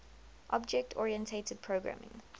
object oriented programming